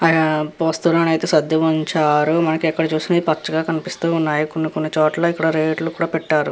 అక్కడ పోస్టర్ అనే సర్దించారు ఇక్కడ పచ్చ పచ్చగా ఇక్కడ కొని కొని రేట్స్ కూడా పెట్టారు.